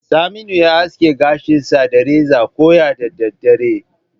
Saminu ya aske gashinsa da reza koya da daddare.